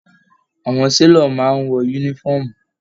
Àwọn selọ̀ máa n wọ yúnífọ̀ọ́mù.